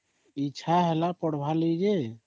ଇଛା ହେଲା ପଢ଼ାବା ଲାଗି ଯେ